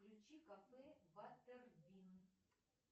включи кафе батербин